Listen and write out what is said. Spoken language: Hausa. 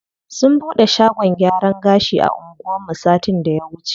Sun bude shagon gyaran gashi a anguwan mu satin da ya wuce.